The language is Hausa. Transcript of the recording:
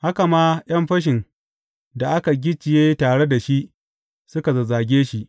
Haka ma, ’yan fashin da aka gicciye tare da shi, suka zazzage shi.